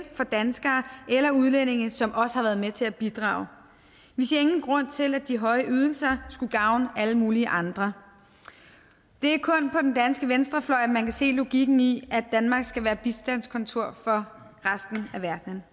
for danskere eller udlændinge som også har været med til at bidrage vi ser ingen grund til at de høje ydelser skulle gavne alle mulige andre det er kun på den danske venstrefløj at man kan se logikken i at danmark skal være bistandskontor for resten af verden